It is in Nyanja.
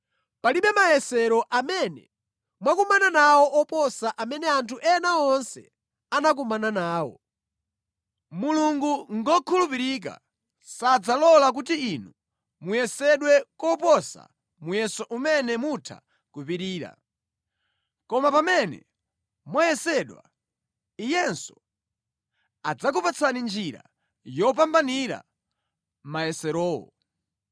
Palibe mayesero amene mwakumana nawo oposa amene anthu ena onse anakumana nawo. Mulungu ngokhulupirika; sadzalola kuti inu muyesedwe koposa muyeso umene mutha kupirira. Koma pamene mwayesedwa, Iyenso adzakupatsani njira yopambanira mayeserowo.